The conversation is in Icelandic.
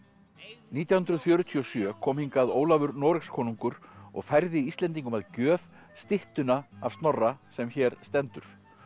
nítján hundruð fjörutíu og sjö kom hingað Ólafur Noregskonungur og færði Íslendingum að gjöf styttuna af Snorra sem hér stendur